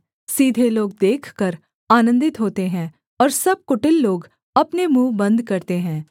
सीधे लोग देखकर आनन्दित होते हैं और सब कुटिल लोग अपने मुँह बन्द करते हैं